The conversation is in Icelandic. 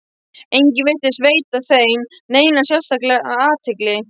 Enginn virtist veita þeim neina sérstaka athygli.